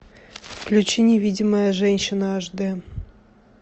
включи невидимая женщина аш д